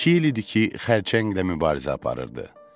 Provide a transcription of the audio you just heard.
İki il idi ki, xərçənglə mübarizə aparırdı.